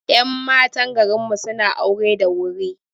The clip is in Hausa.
Ƴan matan garinmu suna aure da wuri